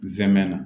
N zɛmɛ na